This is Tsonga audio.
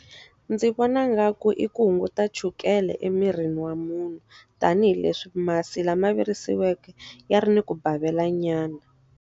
Ndzi vona nga ku i ku hunguta chukele emirini wa munhu. Tanihi leswi masi lama virisiweke ya ri ni ku bavela nyana.